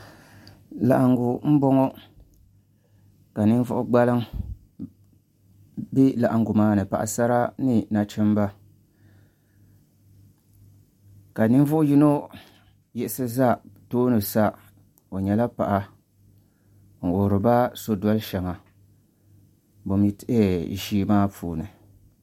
laɣiŋgu m-bɔŋɔ ka ninvuɣ' gbaliŋ be laɣiŋgu maa ni paɣisara ni nachimba ka ninvu' yino yiɣisi za tooni sa o nyɛla paɣa n-wuhiri ba sodoli shɛŋa ʒii maa puuni